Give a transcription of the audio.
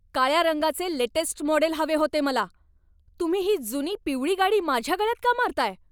काळ्या रंगाचे latest model हवे होते मला. तुम्ही ही जुनी पिवळी गाडी माझ्या गळ्यात का मारताय?